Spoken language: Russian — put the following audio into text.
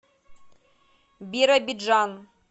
биробиджан